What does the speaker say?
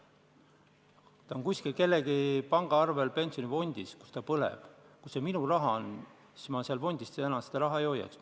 Kui minu raha on kuskil pensionifondi pangaarvel, kus ta põleb, siis ma selles fondis tõenäoliselt seda enam ei hoiaks.